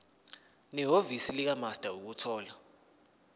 nehhovisi likamaster ukuthola